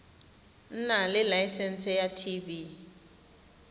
nna le laesense ya tv